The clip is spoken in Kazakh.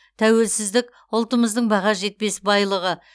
тәуелсіздік ұлтымыздың баға жетпес байлығы